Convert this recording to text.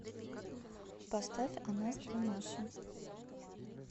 поставь о нас две маши